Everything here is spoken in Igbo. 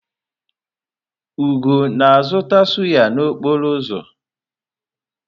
Ugo na-azụta sụ́yá n'okporo ụzọ?